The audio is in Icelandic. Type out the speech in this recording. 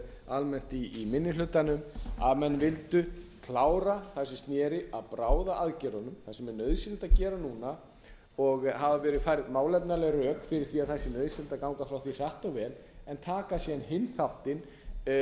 almennt í minni hlutanum að menn vildu klára það sem sneri að bráðaaðgerðunum því sem er nauðsynlegt að gera núna og hafa verið færð málefnaleg rök fyrir því að það sé nauðsynlegt að ganga frá því hratt og vel en taka síðan hinn þáttinn